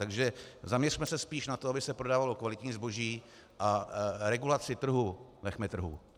Takže zamiřme se spíš na to, aby se prodávalo kvalitní zboží, a regulaci trhu nechme trhu.